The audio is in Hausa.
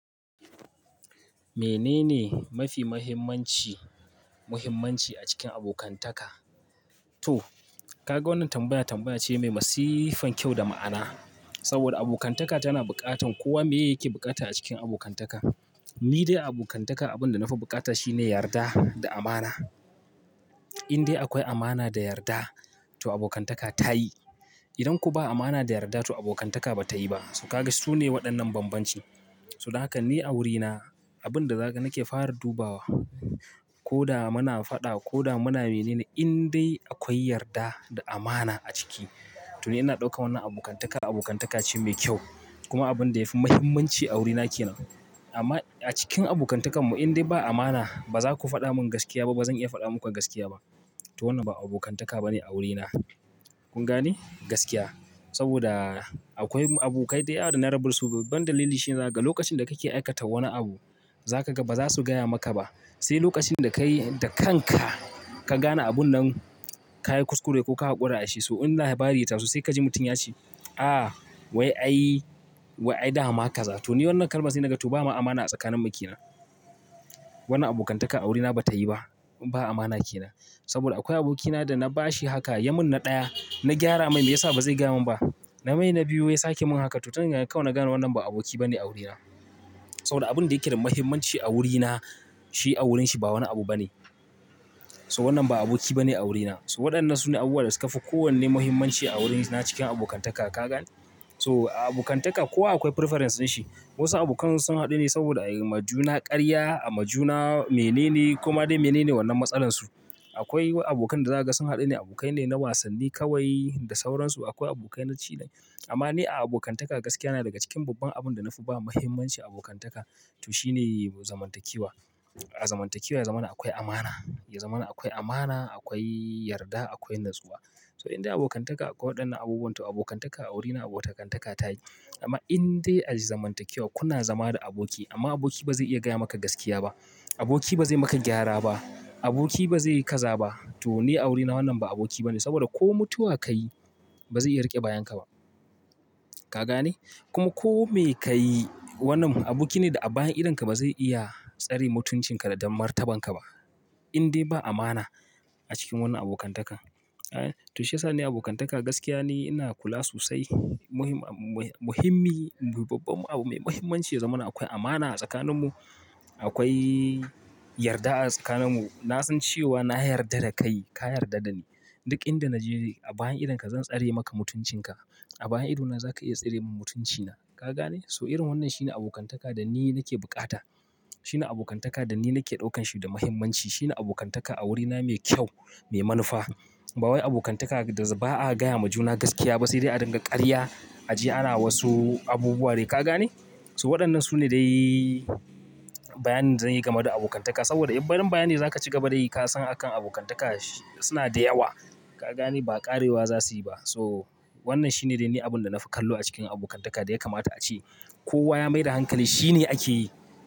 Menene mafi mahimmanci, muhimmanci a cikin abokantaka? To, ka ga wannan tambaya tambaya ce mai masifan kyau da ma'ana. Saboda abokantaka tana buƙatar kowa. Meya yake buƙata a cikin abokantaka? Ni dae a abokantaka abinda nafi bukata shine yarda da amana, idae akwai amana da yarda to abokantaka tayi idan ko ba amana da yarda, to abokantaka ba ta yi ba. To ka ga su ne waɗannan bambanci. To dan haka ni a wurina abin da zaka nake fara dubawa koda muna fada koda muna menene indae akwai yarda da amana a ciki to ni ina daukar wannan abokantaka abokantaka ce mai kyau kuma abinda yafi muhimmanci a wuri na kenan. Amma a cikin abokantakanmu in dai ba amana, ba za ku faɗa min gaskiya ba, ba zan iya faɗa muku gaskiya ba. To wannan ba abokantaka ba ne a wurina. Kun gane? Gaskiya. Saboda akwai abokai da yawa da na rabu su. Babban dalili shine zaga. Lokacin da kake aikata wani abu, za ka ga ba za su gaya maka ba. Sai lokacin da ka yi da kanka, ka gane abun nan, ka yi kuskure ko ka haƙura a shi, so in labari ya taso sai ka ji mutum ya ce, "Ah, wai ai, wai ai dama kaza to." Wannan kalma sai naga to bama amana a tsakaninmu ke nan. Wannan abokantaka a wurina ba ta yi ba. Ba amana ke nan. Saboda akwai abokina da na ba shi haka ya min na ɗaya, na gyara mai, mai ya sa ba zai gaya min ba? Na mai na biyu, wai ya sake min haka to tun daga kawai na gane wannan ba aboki ba ne a wurina. Saboda abin da yake da muhimmanci a wurina, shi a wurinshi ba wani abu ba ne. So wannan ba aboki ba ne a wurina. Wadannan sune abubuwa da sukafi kowanne muhimmanci a wuri na cikin abokantaka ka gane. To a abokantaka kowa akwai preference din shi. Wasu abokan su sun haɗu ne saboda a yi ma juna ƙarya, a ma juna mene ne, koma dai mene ne wannan matsalan su. Akwai abokan da za ka ga sun haɗu ne abokai ne na wasanni kawai da sauransu. Akwai abokai na cilin. Amman ni a abokantaka gaskiya na daga cikin babban abinda nafi bawa muhimmanci abokantaka to shine zaman takewe. A zamantakewa ya zamana akwai amana. Yazamana akwai amana, akwai yarda, akwai natsuwa. So in dai abokantaka akwai waɗannan abubuwan, to abokantaka a wurina abokantaka ta yi. Amma in dai a zamantakewa, kuna zama da aboki amma aboki ba zai iya gaya maka gaskiya ba. Aboki ba zai maka gyara ba. Aboki ba zai yi kaza ba. To ni a wurina wannan ba aboki ba ne. Saboda ko mutuwa ka yi, ba zai iya riƙe bayan ka ba. Ka gane? Kuma ko me ka yi, wannan aboki ne da a bayan idonka ba zai iya tsare mutuncin ka da martaban ka ba in dai ba amana a cikin wannan abokantaka. To shi ya sa ni abokantaka gaskiya ni ina kula sosai. Muhim, muhi-muhimmi, babban abu mai muhimmanci yazamana akwai amana a tsakaninmu. Akwai yarda a tsakaninmu. Na san cewa na yarda da kai, ka yarda da ni. Duk inda na je a bayan idonka zan tsare maka mutuncin ka. A bayan idona za ka iya tsare min mutuncina. Ka gane? So irin wannan shine abokantaka da ni nake bukata. Shine abokantaka da ni nake ɗaukan shi da muhimmanci. Shine abokantaka a wurina mai kyau, mai manufa. Ba wai abokantaka da ba a gaya ma juna gaskiya ba sai dai a dinga ƙarya a je ana wasu abubuwa ne. Ka gane? To waɗannan su ne dai bayanin da zan yi game da abokantaka. Saboda in barin bayani za ka ci gaba da yi, ka san a kan abokantaka suna da yawa. Ka gane? Ba ƙarewa za su yi ba. So wannan shine dai ni abin da na fi kallo a cikin abokantaka da ya kamata a ce. Kowa ya mai da hankali, shi ne ake yi.